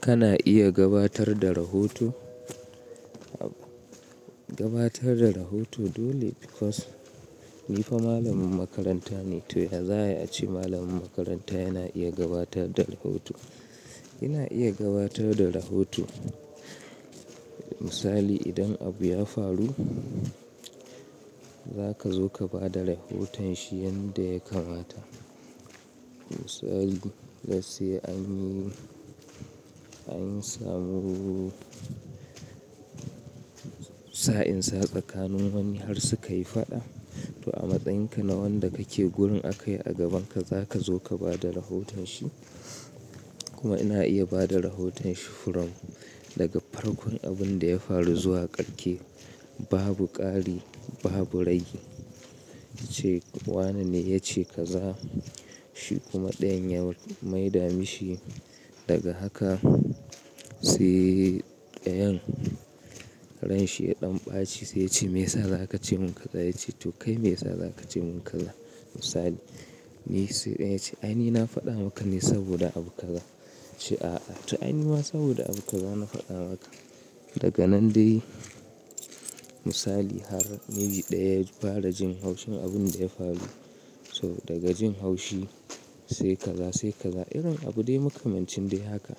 Kana iya gabatar da rahoto, gabatar da rahoto dole because ni fa malamin makaranta ne to ya za'ayi ace malamin makaranta yana iya gabatar da rahoto. Ina iya gabatar da rahoto misali idan abu ya faru za ka zo ka ba da rahoton shi yanda ya kamata. Misali, let's say anyi, anyi samu sa'in sa tsakanin wani har sukayi faɗa to a matsayinka na wanda kake gurin aka yi a gabanka za ka zo ka ba da rahoton shi kuma ina iya bada rahoton shi from daga farkon abinda ya faru zuwa karke. Babu ƙari, babu ragi. Wanene yace kaza shi kuma dayan ya mai damishi daga haka sai dayan ran shiya ɗan ɓaci sai ya ce me yasa za ka ce mun kaza? Ya ce to kai me yasa za ka ce mun kaza? Misali ni sai dayan yace a ni na faɗa maka ne saboda abu kaza shi a a to ai ni ma saboda abu kaza na faɗa maka. Daga nan dai misali har maybe daya ya fara jin haushin abunda ya faru so daga jin haushi sai kaza sai kaza irin abu dai makamancin dai haka.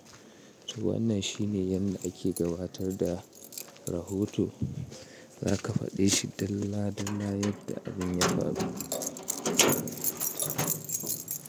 To wannan shine yanda ake gabatar da rahoto. Za ka faɗe shi dalla dalla yadda abin ya faru.